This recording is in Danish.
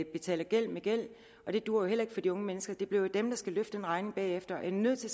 betaler gæld med gæld og det duer heller ikke for de unge mennesker det bliver jo dem der skal betale den regning bagefter jeg er nødt til